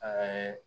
Aa